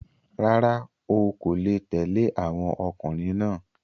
Rárá, o ọkò le tẹ̀le àwọn ọkùnrin náà.